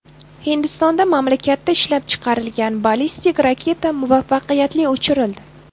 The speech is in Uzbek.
Hindistonda mamlakatda ishlab chiqarilgan ballistik raketa muvaffaqiyatli uchirildi.